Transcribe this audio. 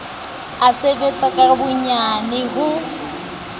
a sebetsa ka boyena ho